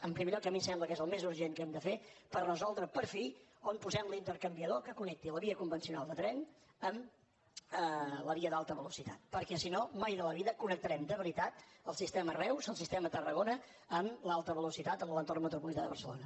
en primer lloc a mi em sembla que és el més urgent que hem de fer per resoldre per fi on posem l’intercanviador que connecti la via convencional de tren amb la via d’alta velocitat perquè si no mai de la vida connectarem de veritat el sistema reus el sistema tarragona amb l’alta velocitat amb l’entorn metropolità de barcelona